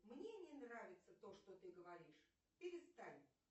мне не нравится то что ты говоришь перестань